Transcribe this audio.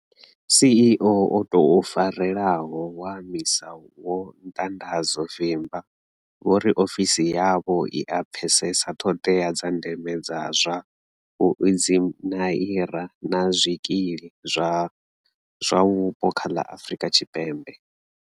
CEO o tou farelaho wa MISA vho Ntandazo Vimba vho ri ofisi yavho i a pfesesa ṱhoḓea dza ndeme dza zwa vhuinzhiniara na zwikili zwa zwa mupo kha ḽa Afrika Tshipembe.